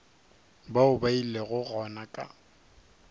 bao ba ilego gona ka